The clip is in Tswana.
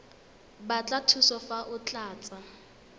batla thuso fa o tlatsa